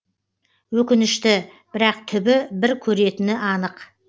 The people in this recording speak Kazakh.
өкінішті бірақ түбі бір көретіні анық